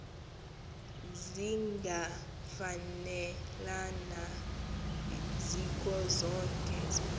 zingafanelana zikho zonke